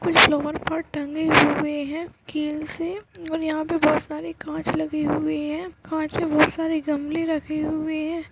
कुछ पर टंगे हुए हैं कील से और यहाँ पे बहोत सारे काँच लगे हुए हैं काँच पे बहोत सारे गमले रखे हुए हैं।